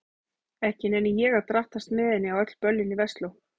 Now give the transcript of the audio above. Ekki nenni ég að drattast með henni á öll böllin í Versló.